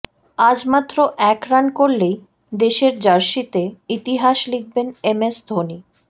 আজ মাত্র এক রান করলেই দেশের জার্সিতে ইতিহাস লিখবেন এম এস ধোনি